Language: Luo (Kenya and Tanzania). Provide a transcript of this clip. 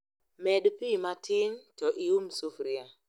Med pii matin to ium sufria